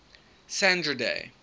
sandra day